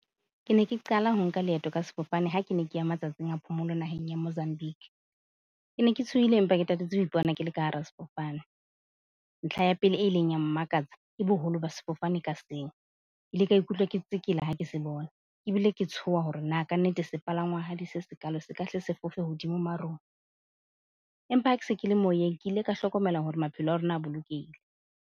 Ke ne ke qala ho nka leeto ka sefofane ha ke ne ke ya matsatsing a phomolo naheng ya Mozambique. Ke ne ke tshohile, empa ke tatetse ho ipona ke le ka hara sefofane. Ntlha ya pele e ileng ya mmakatsa ke boholo ba sefofane ka seng. Ke ile ka ikutlwa ke tsekela ha ke se bona ebile ke tshoha hore na ka nnete sepalangwahadi se sekaalo, se ka hle se fofe hodimo marung. Empa ha ke se ke le moyeng, ke ile ka hlokomela hore maphelo a rona a bolokehile.